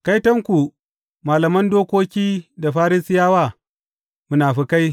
Kaitonku, malaman dokoki da Farisiyawa, munafukai!